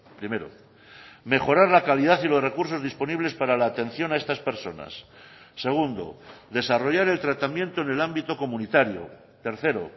primero mejorar la calidad y los recursos disponibles para la atención a estas personas segundo desarrollar el tratamiento en el ámbito comunitario tercero